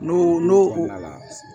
N'o n'o kɛra